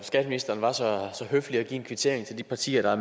skatteministeren var så høflig at give en kvittering til de partier der har